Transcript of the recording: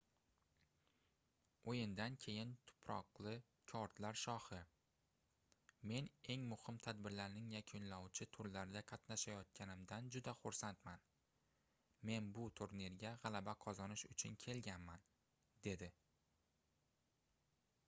oʻyindan keyin tuproqli kortlar shohi men eng muhim tadbirlarning yakunlovchi turlarida qatnashayotganimdan juda xursandman men bu turnirga gʻalaba qozonish uchun kelganman dedi